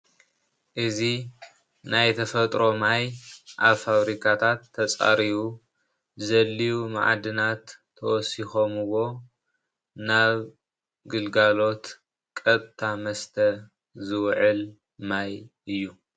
እዚ ናይ ተፈጥሮ ማይ ኣብ ፋብሪካታት ዝተፃረዩ ዘድልዩ መዓድናት ተወሲኾምዎ ናብ ግልጋሎት ቀጥታ መስተ ዝውዕል ማይ እዩ ።